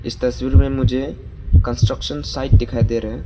इस तस्वीर में मुझे कंस्ट्रक्शन साइट दिखाई दे रहे हैं।